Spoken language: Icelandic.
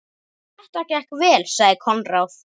Þetta gekk vel, sagði Konráð.